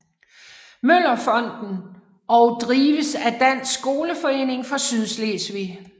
Møller Fonden og drives af Dansk Skoleforening for Sydslesvig